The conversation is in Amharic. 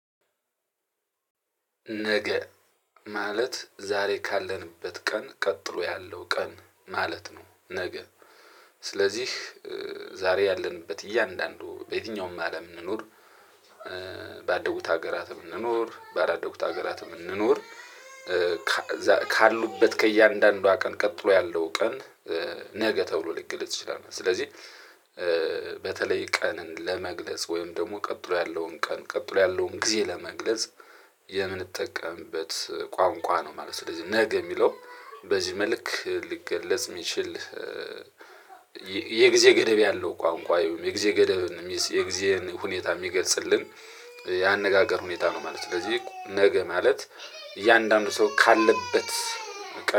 ነገ ማለት ዛሬ ካለንበት ቀን ቀጥሎ ያለው ቀን ማለት ነው። ነገ ስለዚህ ዛሬ ያለንበት እያንዳንዱ በየትኛውም አለም እንኑር። ባደጉት ሀገራት እንኑር ባላደጉት ሀገራት እንኑር። ካሉበት ከእያንዳንዷ ቀን ቀጥሎ ያለው ቀን። ነገ ተብሎ ልክ ልትችላለት ስለዚህ በተለይ ቀንን ለመግለጽ ወይም ደግሞ ቀጥሎ ያለውን ቀን ቀጥሎ ያለውን ጊዜ ለመግለጽ የምንጠቀምበት ቋንቋ ነው ማለት ነው። ስለዚህ ነገ የሚለው በዚህ መልክ ሊገለጽ የሚችል። የጊዜ ገደብ ያለው ቋንቋ የጊዜ ገደብ የጊዜን ሁኔታ የሚገልጽልን ያነጋገር ሁኔታ ነው ማለት ነው። ስለዚህ ነገ ማለት እያንዳንዱ ሰው ካለበት